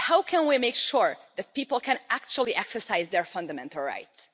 But how can we make sure that people can actually exercise their fundamental rights?